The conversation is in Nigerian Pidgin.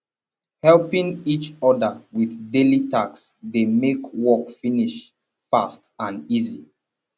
helping each other with daily task de make work finish fast and easy